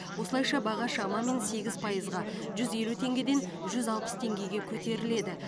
осылайша баға шамамен сегіз пайызға жүз елу теңгеден жүз алпыс теңгеге көтеріледі